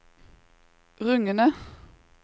rungende